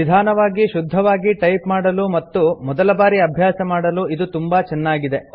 ನಿಧಾನವಾಗಿ ಶುದ್ಧವಾಗಿ ಟೈಪ್ ಮಾಡಲು ಮತ್ತು ಮೊದಲಬಾರಿ ಅಭ್ಯಾಸ ಮಾಡಲು ಇದು ತುಂಬಾ ಚೆನ್ನಾಗಿದೆ